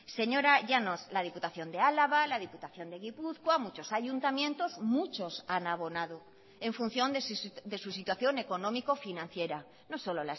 señora llanos la diputación de álava la diputación de gipuzkoa muchos ayuntamientos muchos han abonado en función de sus situación económico financiera no solo